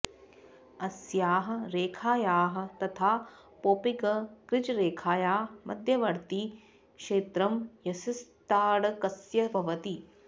अस्याः रेखायाः तथा पौपिंग् क्रीजरेखाया मध्यवर्ति क्षेत्रं यष्टिताडकस्य भवति